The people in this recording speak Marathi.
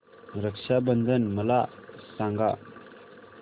रक्षा बंधन मला सांगा